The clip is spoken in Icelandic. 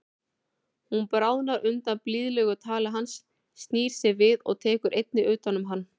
Hún bráðnar undan blíðlegu tali hans, snýr sér við og tekur einnig utan um hann.